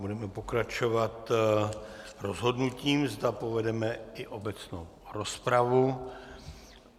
Budeme pokračovat rozhodnutím, zda povedeme i obecnou rozpravu.